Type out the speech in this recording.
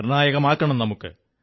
നിർണ്ണായകമാക്കണം നമുക്ക്